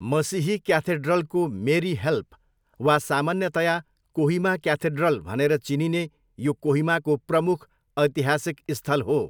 मसिही क्याथेड्रलको Mary help वा सामान्यतया कोहिमा क्याथेड्रल भनेर चिनिने यो कोहिमाको प्रमुख ऐतिहासिक स्थल हो।